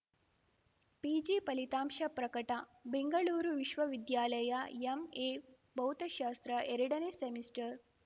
PG ಫಲಿತಾಂಶ ಪ್ರಕಟ ಬೆಂಗಳೂರು ವಿಶ್ವವಿದ್ಯಾಲಯ ಎಂಎಭೌತಶಾಸ್ತ್ರ ಎರಡನೇ ಸೆಮಿಸ್ಟರ್‌